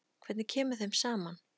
Hvernig kemur þeim saman?